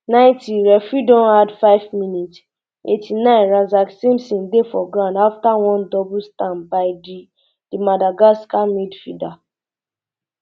ninetyreferee don addfive minutes eighty-ninerazak simpson dey for ground afta one double stamp by di di madagascar midfielder um